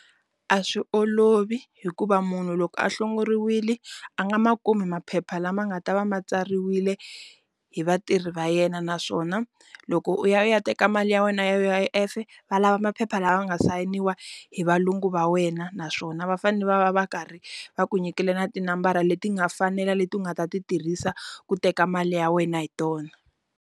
A swi olovi hikuva munhu loko a hlongoriwili a nga ma kumi maphepha lama nga ta va ma tsariwile hi vatirhi va yena naswona loko u ya u ya teka mali ya wena ya U_I_F va lava maphepha lawa nga sayiniwa hi valungu va wena naswona va fane va va va karhi va ku nyikile na tinambara leti nga fanela leti u nga ta ti tirhisa ku teka mali ya wena hi tona.